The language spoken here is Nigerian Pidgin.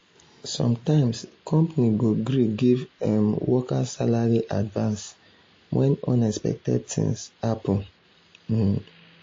sometimes company go gree give um workers salary advance when unexpected things happen. um